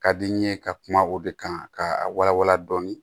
Ka di n ye ka kuma o de kan ka wala wala dɔɔni